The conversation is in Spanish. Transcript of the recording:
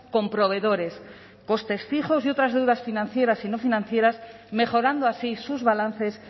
con proveedores costes fijos y otras deudas financieras y no financieras mejorando así sus balances